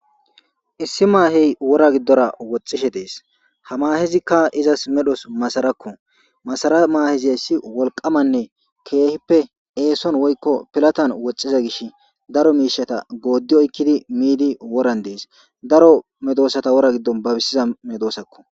issi maahey wora giddora woxxishe dees ha maahezikka izas medhos masarakko masara maaheziayssi wolqamanne keehippe eeson woykko pilatan woxxiza gish daro miishata goodi oykkidi miidi woran dees daro medoosata wora giddon babissiza medoosakko